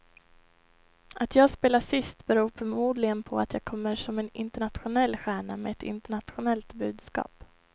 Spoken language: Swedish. Att jag spelar sist beror förmodligen på att jag kommer som en internationell stjärna med ett internationellt budskap.